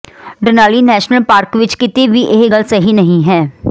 Denali national park ਵਿਚ ਕਿਤੇ ਵੀ ਇਹ ਗੱਲ ਸਹੀ ਨਹੀਂ ਹੈ